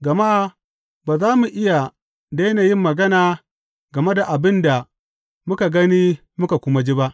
Gama ba za mu iya daina yin magana game da abin da muka gani muka kuma ji ba.